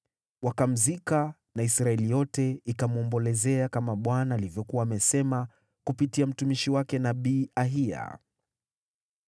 Wakamzika na Israeli yote ikamwombolezea, kama Bwana alivyokuwa amesema kupitia mtumishi wake, nabii Ahiya.